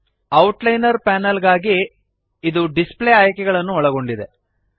outliner panel ಗಾಗಿ ಇದು display ಆಯ್ಕೆಗಳನ್ನು ಒಳಗೊಂಡಿದೆ